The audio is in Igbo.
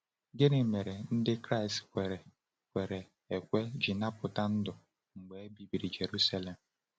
Gịnị mere Ndị Kraịst kwere kwere ekwe ji napụta ndụ mgbe e bibiri Jerusalem?